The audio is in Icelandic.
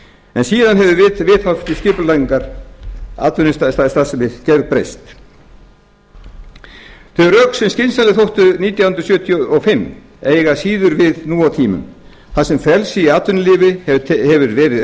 en síðan hafa viðhorf til skipulagningar atvinnustarfsemi gerbreyst þau rök sem skynsamleg þóttu nítján hundruð sjötíu og fimm eiga síður við nú á tímum þar sem frelsi í atvinnulífi hefur verið